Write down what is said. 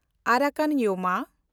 ᱟᱨᱟᱠᱟᱱ ᱭᱳᱢᱟ